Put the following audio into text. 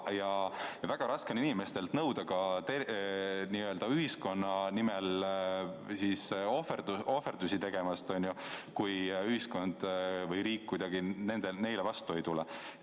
Ja väga raske on inimestelt nõuda ka n-ö ühiskonna nimel ohverduste tegemist, kui ühiskond või riik kuidagi neile vastu ei tule.